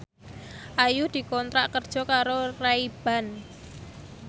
Ayu dikontrak kerja karo Ray Ban